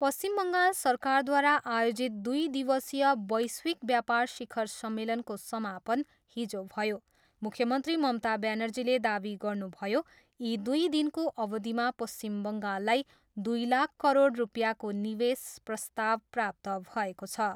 पश्चिम बङ्गाल सरकारद्वारा आयोजित दुइ दिवसीय वैश्विक व्यापार शिखर सम्मेलनको समापन हिजो भयो। मुख्यमन्त्री ममता ब्यानर्जीले दावी गर्नुभयो, यी दुई दिनको अवधिमा पश्चिम बङ्गाललाई दुई लाख करोड रुपियाँको निवेश प्रस्ताव प्राप्त भएको छ।